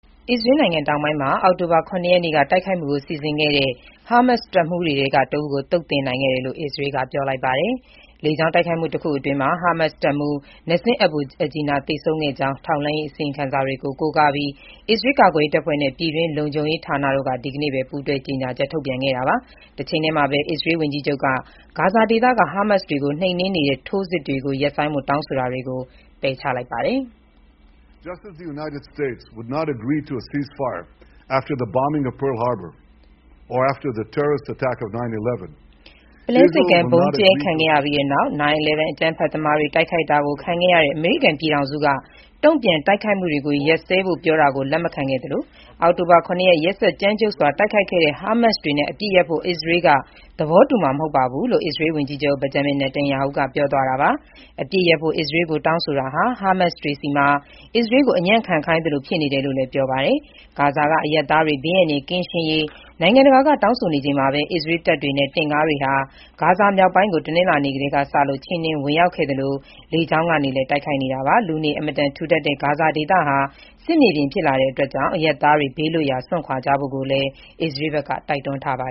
အစ္စရေးနိုင်ငံ တောင်ပိုင်းမှာ အောက်တိုဘာလ ၇ ရက်နေ့က တိုက်ခိုက်မှုကို စီစဉ်ခဲ့တဲ့ ဟာမတ်စ်တပ်မှူးတွေထဲက တဦးကို သုတ်သင်နိုင်ခဲ့တယ်လို့ အစ္စရေးက ပြောလိုက်ပါတယ်။ လေကြောင်းတိုက်ခိုက်မှုတခုအတွင်း ဟာမတ်စ်တပ်မှူး Nasim Abu Ajina သေဆုံးခဲ့ကြောင်း ထောက်လှမ်းရေးအစီရင်ခံစာတွေကို ကိုးကားပြီး အစ္စရေးကာကွယ်ရေးတပ်ဖွဲ့နဲ့ ပြည်တွင်းလုံခြုံရေးဌာန Shin Bet တို့က ဒီကနေ့ပဲ ပူးတွဲကြေညာချက်ထုတ်ပြန်ခဲ့တာပါ။ တချိန်တည်းမှာပဲ အစ္စရေး ဝန်ကြီးချုပ်က ဂါဇာဒေသက ဟာမတ်စ်တွေကို နှိမ်နင်းနေတဲ့ ထိုးစစ်ရပ်ဆိုင်းဖို့ တောင်းဆိုတာတွေကို ပယ်ချလိုက်ပါတယ်။ "ပုလဲဆိပ်ကမ်း ဗုံကြဲခံရပြီးနောက်နဲ့ 9/11 အကြမ်းဖက်သမားတွေ တိုက်ခိုက်တာကိုခံရပြီးတဲ့နောက် အမေရိကန်ပြည်ထောင်စုက တုံ့ပြန်တိုက်ခိုက်မှုတွေကို ရပ်စဲဖို့ ပြောဆိုတာကို လက်မခံခဲ့သလို အောက်တိုဘာ ၇ ရက် ရက်စက်ကြမ်းကြုတ်စွာ တိုက်ခိုက်ခဲ့တဲ့ ဟာမတ်စ်တွေနဲ့ အပစ်ရပ်ဖို့ အစ္စရေးက သဘောတူမှာမဟုတ်ပါဘူး။" လို့ အစ္စရေးဝန်ကြီးချုပ် Benjamin Netanyahu ကပြောသွားတာပါ။ အပစ်ရပ်ဖို့ အစ္စရေးကို တောင်းဆိုတာဟာ ဟာမတ်စ်တွေဆီမှာ အစ္စရေးကို အညံ့ခံခိုင်းသလို ဖြစ်နေတယ်လို့လည်း ပြောပါတယ်။ ဂါဇာက အရပ်သားတွေ ဘေးအန္တရယ်ကင်းရေး နိုင်ငံတကာက တောင်းဆိုနေချိန်မှာပဲ အစ္စရေးတပ်တွေနဲ့ တင့်ကားတွေဟာ ဂါဇာမြောက်ပိုင်းကို တနင်္လာနေ့ကတည်းကစလို့ ချဉ်းနင်းဝင်ရောက်ခဲ့သလို လေကြောင်းကနေလည်း တိုက်ခိုက်နေတာပါ။ လူနေ အင်မတန် ထူထပ်တဲ့ ဂါဇာဒေသဟာ စစ်မြေပြင်ဖြစ်လာတာကြောင့် အရပ်သားတွေ ဘေးလွတ်ရာ စွန့်ခွာကြဖို့လည်း အစ္စရေးဘက်က တိုက်တွန်းထားပါ